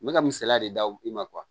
N bɛ ka misaliya de d'u i ma